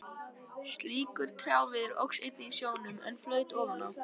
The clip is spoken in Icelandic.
Slíkur trjáviður óx einnig í sjónum, en flaut ofan á.